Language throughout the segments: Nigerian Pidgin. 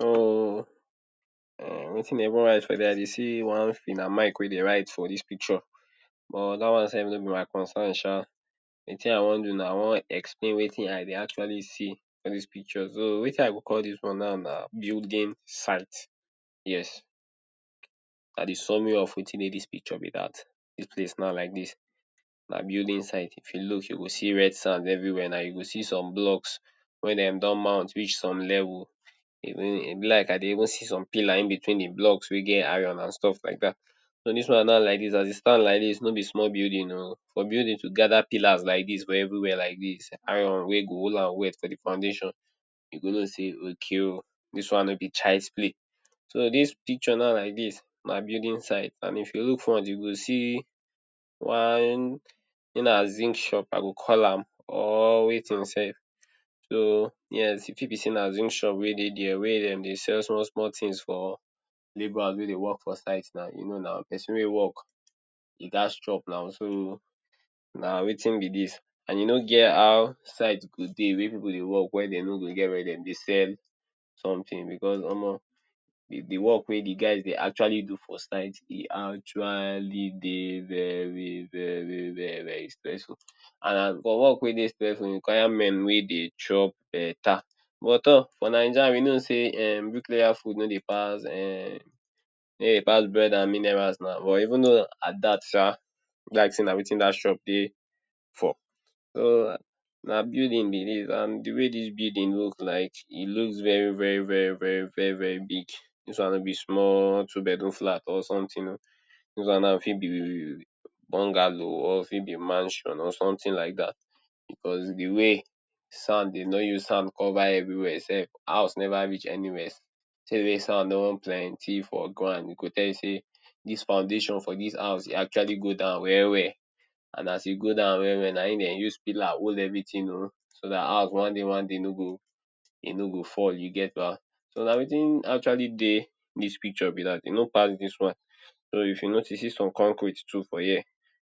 hmm (uum) wetin dey even write for dia I dey see one fina mic wey dey write for dis picture buh dat one self no be my concern Sha di tin I wan do na I wan explain wetin I dey actually see for dis picture so wetin i go call dis one now na building site yes Na di summary of wetin dey dis picture be dat dis place now like dis na building site if you look you go see red sand everywhere na you go see some blocks wey dem don mount reach some level E be like I dey even see some Pillar in between di blocks wey get iron and stuff like dat So dis one now like dis as e stand like dis no be small building oh for building to gather pillars like dis for everywhere like dis iron wey go hol am well self di foundation you go no say okay oh dis one no be child's play So dis picture now like dis na building site and if you look front you go see one say na zinc shop I go call am or wetin self so yes e fit be say na zinc shop wey dey dia Wia Dem dey sell small-small tins for labourer wey dey work for site na you no na pesin wey work um im gas chop na Soo, na wetin be dis And you no get how site go dey wey we go dey work wia Dem no go get wia Dem dey sell something because omo di work wey guys dey actually do for site e actually dey very very very very stressful And for work wey dey stressful require men wey dey chop beta but tor for naija we no sey em bricklayer food no dey pass um no dey pass bread and minerals na but even though at dat Sha be like say na wetin dat shop dey for So um na building be dis and de way di building look like, e looks very very very very very very big, dis one no be small two bedroom flat or something oh Dis one now fit be um bongalo or e fit be mansion or something like dat because dey way sand dey no use sand cover everywhere self, house Neva reach anywhere di way sand don plenty for ground go tell you say dis foundation for dis house e actually go down well-well And as he go down well-well na im Dem use pilla hol everything oh so dat house one day one day no go um e no go fall you get ba So na wetin actually dey dis picture be dat e no pass dis one so if you notice see some concrete too for here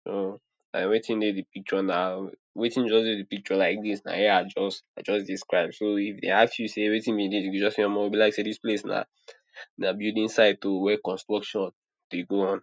so na wetin dey di picture na um wetin just dey di picture like dis na Im I just I just describe So if dey ask you sey wetin be dis you go just say omo be like say dis place na building site oh wey construction dey go on.